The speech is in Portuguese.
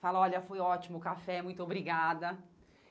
Fala, olha, foi ótimo o café, muito obrigada.